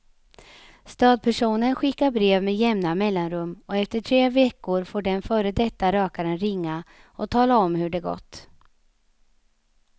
Stödpersonen skickar brev med jämna mellanrum och efter tre veckor får den före detta rökaren ringa och tala om hur det gått.